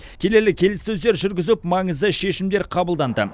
келелі келіссөздер жүргізіп маңызды шешімдер қабылданды